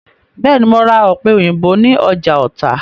Bẹ́ẹ̀ ni, mo ra ọ̀pẹ̀- òyìnbó ní ọjà Ọ̀tà.